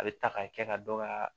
A bɛ ta k'a kɛ ka dɔ ka